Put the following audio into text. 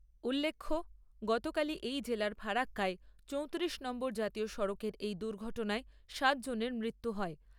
উল্লেখ্য, গতকালই এই জেলার ফারাক্কায় চৌতিরিশ নম্বর জাতীয় সড়কেই এক দুর্ঘটনায় সাত জনের মৃত্যু হয়।